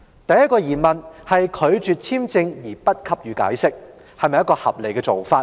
第一個疑問是拒絕發出簽證而不給予解釋，是否合理的做法？